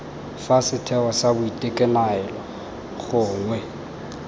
fa setheo sa boitekanelo gongwe